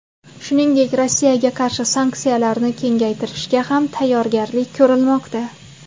Shuningdek, Rossiyaga qarshi sanksiyalarni kengaytirishga ham tayyorgarlik ko‘rilmoqda.